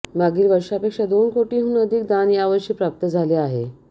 मागील वर्षापेक्षा दोन कोटींहून अधिक दान यावर्षी प्राप्त झाले आहे